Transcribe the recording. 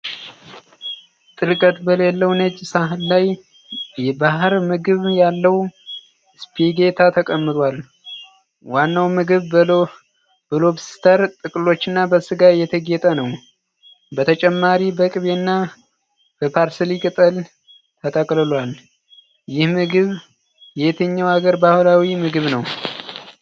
ጥልቀት በሌለው ነጭ ሳህን ላይ የባህር ምግብ ያለው ስፓጌቲ ተቀምጧል። ዋናው ምግብ በሎብስተር ጥፍሮችና በስጋ የተጌጠ ነው። በተጨማሪ በቅቤና በparsley ቅጠል ተቀላቅሏል። ይህ ምግብ የየትኛው አገር ባህላዊ ምግብ ነው?